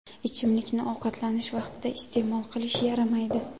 Ichimlikni ovqatlanish vaqtida iste’mol qilish yaramaydi.